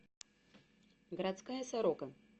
городская сорока